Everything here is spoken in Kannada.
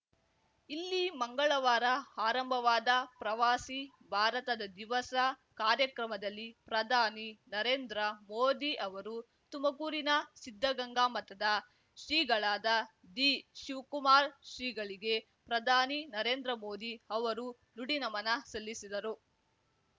ಇಲ್ಲಿ ಮಂಗಳವಾರ ಆರಂಭವಾದ ಪ್ರವಾಸಿ ಭಾರತದ ದಿವಸ ಕಾರ್ಯಕ್ರಮದಲ್ಲಿ ಪ್ರಧಾನಿ ನರೇಂದ್ರ ಮೋದಿ ಅವರು ತುಮಕೂರಿನ ಸಿದ್ಧಗಂಗಾ ಮಠದ ಶ್ರೀಗಳಾದ ದಿ ಶಿವ್ಕುಮಾರ ಶ್ರೀಗಳಿಗೆ ಪ್ರಧಾನಿ ನರೇಂದ್ರ ಮೋದಿ ಅವರು ನುಡಿನಮನ ಸಲ್ಲಿಸಿದರು